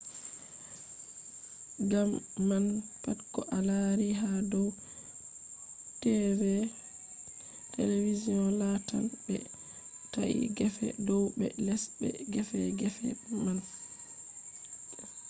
gam man pat ko a laari ha dow tv lattan ɓe ta’i gefe dow be les be gefe gefe man